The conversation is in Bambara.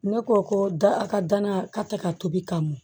Ne ko ko da ka danaya ka tɛ ka tobi ka mɔn